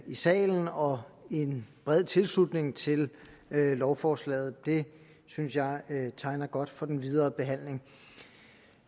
i salen og en bred tilslutning til lovforslaget det synes jeg tegner godt for den videre behandling